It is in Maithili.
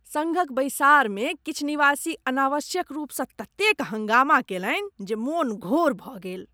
सङ्घक बैसाड़मे किछु निवासी अनावश्यक रूपसँ ततेक हँगामा कैलनि जे मोन घोर भऽ गेल।